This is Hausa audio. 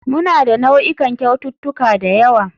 Muna da nau'ikan kyaututtuka da yawa.